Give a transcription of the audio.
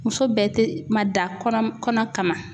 Muso bɛɛ tɛ mada kɔnɔ kama